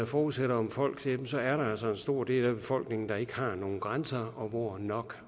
forudsætter om folk så er der altså en stor del af befolkningen som ikke har nogen grænser og hvor nok